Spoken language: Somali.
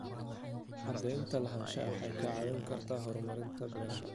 Cadaynta lahaanshaha waxay kaa caawin kartaa horumarinta beeraha.